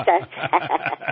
અચ્છા અચ્છા